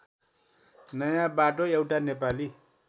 नयाँबाटो एउटा नेपाली